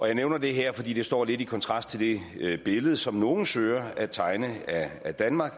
jeg nævner det her fordi det står lidt i kontrast til det billede som nogle søger at tegne af danmark